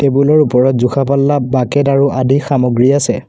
টেবুলৰ ওপৰত জোখা পাল্লা বাকেত আৰু আদি সামগ্ৰী আছে।